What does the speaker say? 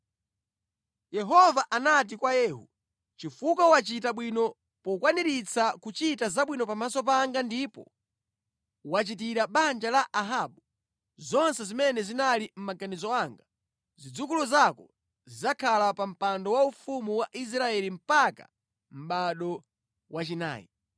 Yehova anati kwa Yehu, “Chifukwa wachita bwino pokwaniritsa kuchita zabwino pamaso panga ndipo wachitira banja la Ahabu zonse zimene zinali mʼmaganizo anga, zidzukulu zako zidzakhala pa mpando waufumu wa Israeli mpaka mʼbado wachinayi.”